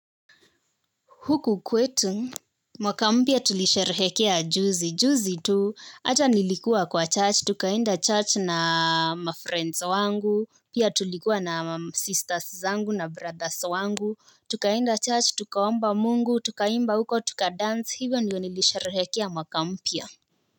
Huku kwetu, mwaka mpya tulisherehekea juzi, juzi tu hata nilikuwa kwa church, tukaenda church na mafriends wangu, pia tulikuwa na sisters zangu na brothers wangu, tukaenda church, tukaomba mungu, tukaimba huko, tuka dance, hivyo niliosherehekea mwaka mpya.